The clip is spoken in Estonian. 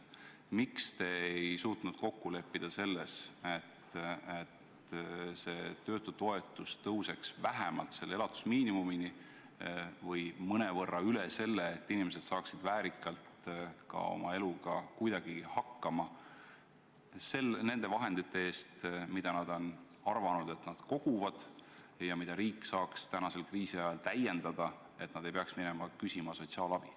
Miks te ei suutnud kokku leppida selles, et töötutoetus tõuseks vähemalt elatusmiinimumini või mõnevõrra üle selle, et inimesed saaksid väärikalt oma eluga kuidagigi hakkama nende vahendite eest, mida, nagu nad arvasid, nad koguvad, ja mida riik saaks tänasel kriisiajal täiendada, et nad ei peaks minema sotsiaalabi küsima?